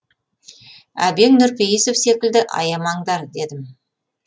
әбең нұрпейісов секілді аямаңдар дедім